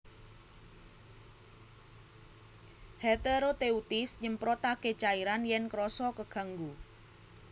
Heteroteuthis nyemprotaké cairan yèn krasa keganggu